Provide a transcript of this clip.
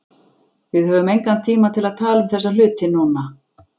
Við höfum engan tíma til að tala um þessa hluti núna.